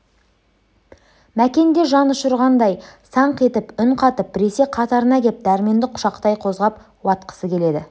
мәкен де жан ұшырғандай саңқ етіп үн қатып біресе қатарына кеп дәрменді құшақтай қозғап уатқысы келеді